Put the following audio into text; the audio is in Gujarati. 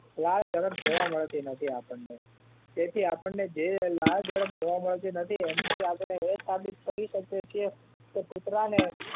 લાળ જરબ જોવા મળતી નથી આપણને તેથી આપણને જે લાળ જરબ જોવા મળતી નથી એન થી આપડે એમ સાબીત કરી શકીએ છીએ કે કુતરા ને